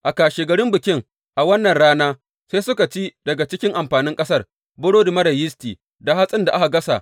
A kashegarin Bikin, a wannan rana, sai suka ci daga cikin amfanin ƙasar, burodi marar yisti da hatsin da aka gasa.